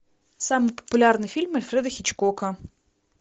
самые популярные фильмы альфреда хичкока